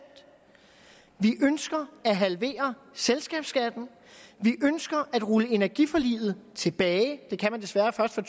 vi ønsker at halvere selskabsskatten vi ønsker at rulle energiforliget tilbage det kan man desværre først fra